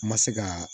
N ma se ka